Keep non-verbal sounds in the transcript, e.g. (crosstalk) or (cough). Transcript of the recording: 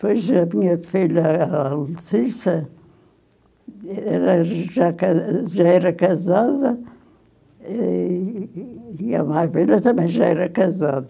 Pois a minha filha, é a, (unintelligible) era já era ca já era casada e e a minha filha também já era casada.